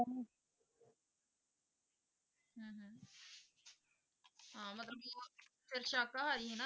ਹਾਂ ਮਤਲਬ ਕਿ ਉਹ ਫਿਰ ਸਾਕਾਹਾਰੀ ਹਨਾ,